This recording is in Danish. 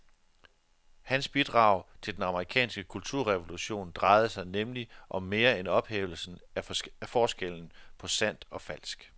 Hans bidrag til den amerikanske kulturrevolution drejede sig nemlig om mere end ophævelsen af forskellen på sandt og falsk.